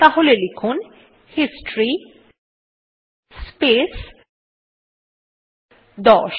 তাহলে লিখুন history space 10